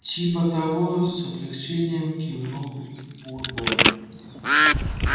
типа того с облегчением кивнул бурбон